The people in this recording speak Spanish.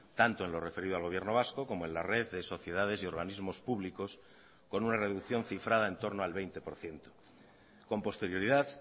tanto en lo referido al gobierno vasco como en la red de sociedades y organismos públicos con una reducción cifrada en torno al veinte por ciento con posterioridad